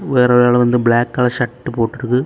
ஒரு ஆளு வந்து பிளாக் கலர் ஷர்ட் போட்டு இருக்கு.